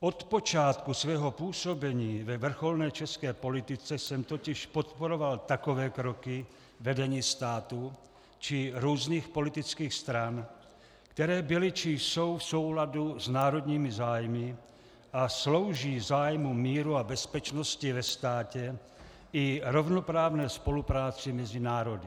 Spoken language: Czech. Od počátku svého působení ve vrcholné české politice jsem totiž podporoval takové kroky vedení státu či různých politických stran, které byly či jsou v souladu s národními zájmy a slouží zájmům míru a bezpečnosti ve státě i rovnoprávné spolupráci mezi národy.